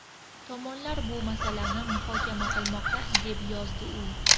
Tomonlar bu masalani muhokama qilmoqda”, deb yozdi u.